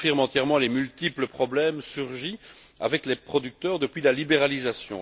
Elle confirme entièrement les multiples problèmes survenus avec les producteurs depuis la libéralisation.